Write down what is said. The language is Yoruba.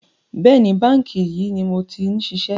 Bẹ́ẹ̀ni, báńkì yìí ni mo ti ń ṣiṣẹ́